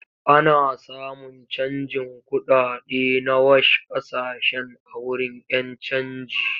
Ana samun canjin kuɗaɗe na wash ƙasashen a wurin 'yan canji.